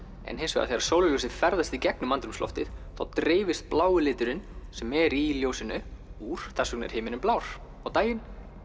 en þegar sólarljósið ferðast í gegnum andrúmsloftið þá dreifist blái liturinn sem er í ljósinu úr þess vegna er himinninn blár á daginn